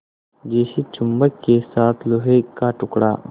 जैसे चुम्बक के साथ लोहे का टुकड़ा